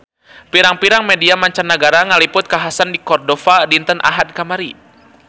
Pirang-pirang media mancanagara ngaliput kakhasan di Cordova dinten Ahad kamari